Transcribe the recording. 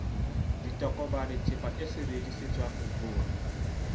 ditokomane theepa e sebedisetswang ho